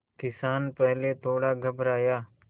किसान पहले थोड़ा घबराया